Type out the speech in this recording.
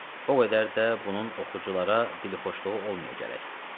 O qədər də bunun oxuculara dilxoşluğu olmaya gərək.